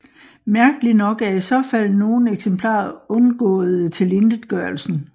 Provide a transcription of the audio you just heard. Mærkelig nok er i så fald nogle eksemplarer undgåede tilintetgørelsen